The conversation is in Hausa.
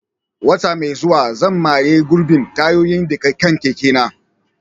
Wata mai zuwa, zan maye gurbin tayoyin da ke kan keke na.